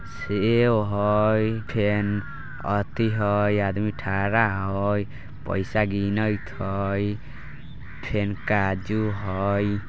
सेब हइ फेन अती हइ आदमी ठहरा हइ पइसा